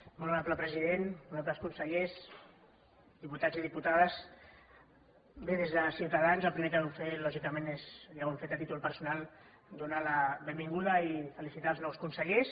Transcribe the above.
molt honorable president honorables consellers diputats i diputades bé des de ciutadans el primer que volem fer lògicament és ja ho hem fet a títol personal donar la benvinguda i felicitar els nous consellers